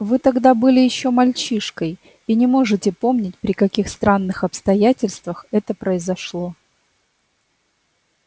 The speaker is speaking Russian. вы тогда были ещё мальчишкой и не можете помнить при каких странных обстоятельствах это произошло